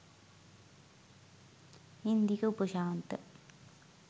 Indika Upashantha